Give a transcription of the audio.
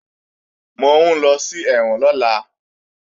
Mò ń lọ sí ẹ̀wọ̀n lọ́la